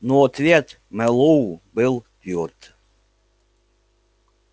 но ответ мэллоу был твёрд